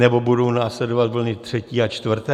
Nebo budou následovat vlny třetí a čtvrtá?